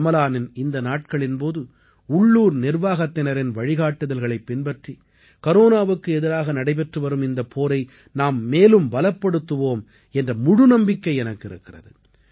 ரமலானின் இந்த நாட்களின் போது உள்ளூர் நிர்வாகத்தினரின் வழிகாட்டுதல்களைப் பின்பற்றி கரோனாவுக்கு எதிராக நடைபெற்று வரும் இந்தப் போரை நாம் மேலும் பலப்படுத்துவோம் என்ற முழு நம்பிக்கை எனக்கு இருக்கிறது